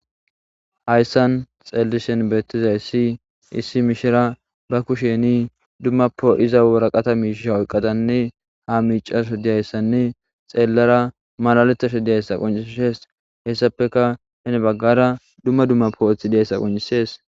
Hayssan xeellishen beettiza issi issi mishira ba kusheni dumma po iza wora qata mishsha oyqqadanne ha miicaso diyayssanne xeelara malaletasho diyayssa qoncishees hessapeka henebaggara dumma dumma pooethi diyayssa qoncisees